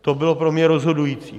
To bylo pro mě rozhodující.